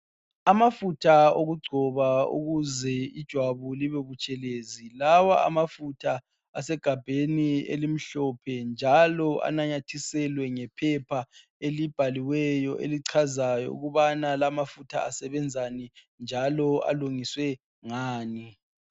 Amafutha wokugcoba ukuze ijwabu libe butshelezi. Lawa amafutha asegabheni elimhlophe njalo anyanathisele ngephepha elibhaliweyo elichazayo ukubana lawa mafutha asebenzani njalo alungiswe ngani.